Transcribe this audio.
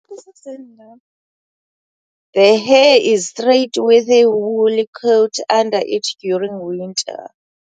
The hair is straight with a woolly coat under it during winter.